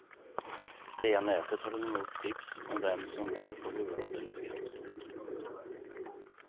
Via nätet tar de emot tips om vem som bör få huvudrollen i filmen.